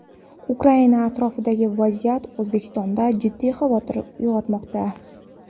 Ukraina atrofidagi vaziyat Oʼzbekistonda jiddiy xavotir uygʼotmoqda.